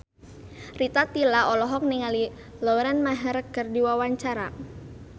Rita Tila olohok ningali Lauren Maher keur diwawancara